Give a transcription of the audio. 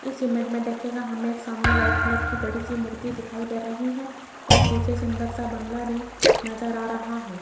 इस इमेज मे देखियेगा हमे एक सामने व्हाइट कलर की मूर्ति दिखाई दे रही है और पीछे सुंदर सा बंगला भी नज़र आ रहा है।